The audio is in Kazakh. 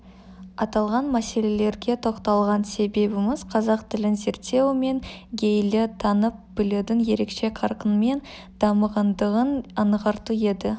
аталған мәселелерге тоқталған себебіміз қазақ тілін зерттеу мен гейлі танып білудің ерекше қарқынмен дамығандығын аңғарту еді